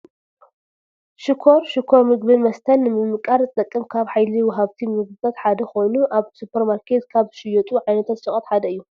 ሽኮር-ሽኮር ምግብን መስተን ንምምቃር ዝጠቅም ካብ ሃይሊ ወሃብቲ ምግብታት ሓደ ኮይኑ ካብ ኣብ ሱፐር ማርኬት ዝሽየጡ ዓይነታት ሸቐጥ ሓደ እዩ፡፡